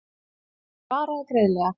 Hann svaraði greiðlega.